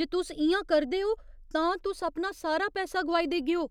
जे तुस इ'यां करदे ओ, तां तुस अपना सारा पैसा गोआई देगेओ।